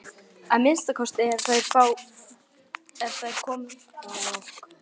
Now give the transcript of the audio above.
Að minnsta kosti ef þær komu frá okkur.